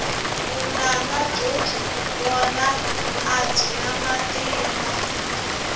vunanga byo byi vona a byi na matimba